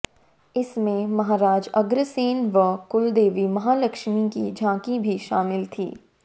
इसमें महाराज अग्रसेन व कुलदेवी महालक्ष्मी की झांकी भी शामिल थी